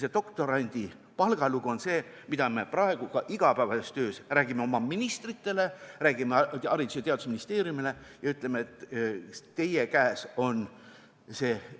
See doktorandi palga lugu on see, millest me ka praegu oma igapäevases töös räägime ministritele, räägime Haridus- ja Teadusministeeriumile ja ütleme, et teie käes on